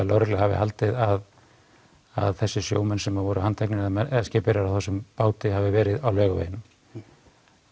lögregla hafi haldið að þessir sjómenn sem voru handteknir hafi verið á Laugaveginum